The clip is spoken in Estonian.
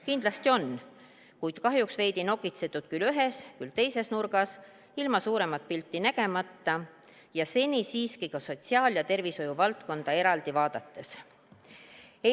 Kindlasti on, kuid kahjuks on veidi nokitsetud küll ühes, küll teises nurgas, ilma suuremat pilti nägemata ja seni siiski ka sotsiaal- ja tervishoiuvaldkonda eraldi vaadates.